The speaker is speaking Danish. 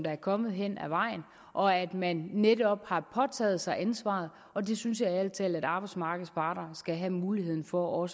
er kommet hen ad vejen og at man netop har påtaget sig ansvaret og det synes jeg ærlig talt at arbejdsmarkedets parter skal have muligheden for